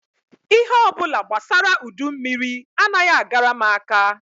Ihe ọ bụla gbasara udummiri anaghị agara m aka